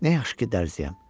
Nə yaxşı ki, dərzəyəm.